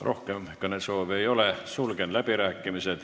Rohkem kõnesoove ei ole, sulgen läbirääkimised.